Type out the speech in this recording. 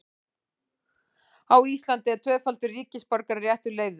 Á Íslandi er tvöfaldur ríkisborgararéttur leyfður.